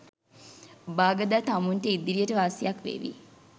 බාගදා තමුන්ට ඉදිරියට වාසියක් වේවි.